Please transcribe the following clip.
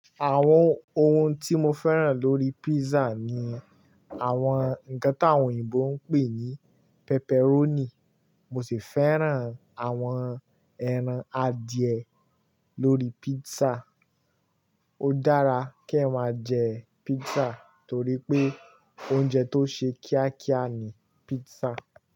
Àwọn ohun tí mo fẹ́ràn lórí písà ni àwọn nǹkan táwọn òyìnbó ń pè ní pepperoni. Mo sì fẹ́ràn àwọn ẹran adìẹ lórí písà. Ó dára kí ẹ máa jẹ písà torí pé oúnjẹ tó ṣe kíákíá ni písà.